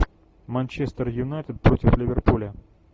манчестер юнайтед против ливерпуля